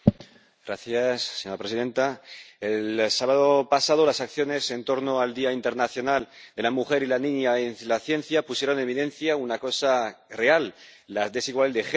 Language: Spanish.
Señora presidenta, el sábado pasado las acciones en torno al Día Internacional de la Mujer y la Niña en la Ciencia pusieron en evidencia una cosa real la desigualdad de género en la investigación.